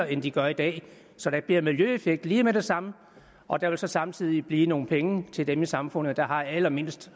det de gør i dag så der bliver en miljøeffekt lige med det samme og der vil så samtidig blive nogle penge til dem i samfundet der har allermindst